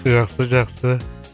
жақсы жақсы